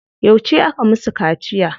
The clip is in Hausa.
Yauce aka musu kaciya?